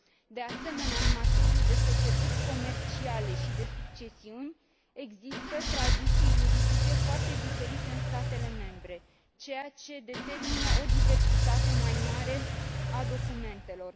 De asemenea, în materie de societăți comerciale și de succesiuni, există tradiții juridice foarte diferite în statele membre, ceea ce determină o diversitate mai mare a documentelor.